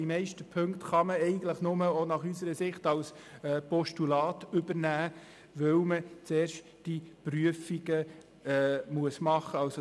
Die meisten Ziffern kann man nur als Postulat übernehmen, weil zuerst die Prüfungen vorgenommen werden müssen.